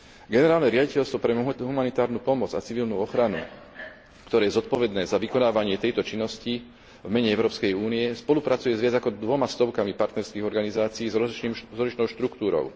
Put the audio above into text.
Generálne riaditeľstvo pre humanitárnu pomoc a civilnú ochranu, ktoré je zodpovedné za vykonávanie tejto činnosti v mene Európskej únie, spolupracuje s viac ako dvomi stovkami partnerských organizácií s rozličnou štruktúrou.